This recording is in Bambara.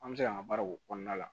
An bɛ se k'an ka baaraw kɔnɔna la